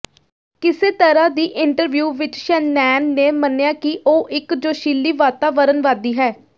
ਕਿਸੇ ਤਰ੍ਹਾਂ ਦੀ ਇੰਟਰਵਿਊ ਵਿਚ ਸ਼ੈਨੈਨ ਨੇ ਮੰਨਿਆ ਕਿ ਉਹ ਇਕ ਜੋਸ਼ੀਲੀ ਵਾਤਾਵਰਣਵਾਦੀ ਹੈ